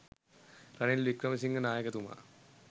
Ranil Wickremesinghe නායකතුමා